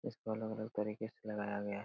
इसको अलग-अलग तरीके से लगाया गया है ।